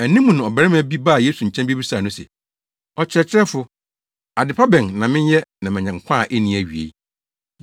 Ɛno mu na ɔbarima bi baa Yesu nkyɛn bebisaa no se, “Ɔkyerɛkyerɛfo, ade pa bɛn na menyɛ na manya nkwa a enni awiei?”